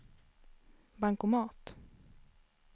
bankomat